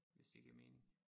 Hvis det giver mening